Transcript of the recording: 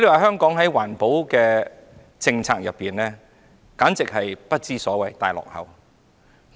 香港的環保政策簡直是不知所謂，是大落後。